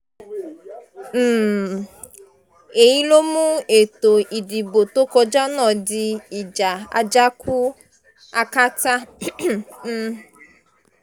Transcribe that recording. um èyí ló mú ètò ìdìbò tó kọjá náà di ìjà àjàkú akátá um